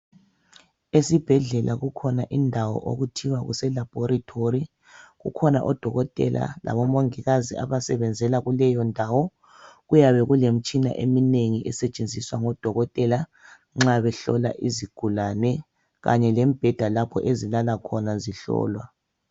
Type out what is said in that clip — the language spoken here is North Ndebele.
Esibhedlela kukhona indawo okuthiwa khona kuse labhorethi. Kukhona odokotela labomongikazi abasebenza kuleyo ndawo. Kuyabe kulemitshina eminengi esetshenziswa ngodokotela nxa behlola izigulane kanye lemibheda ezilala khona nxa behlolwa.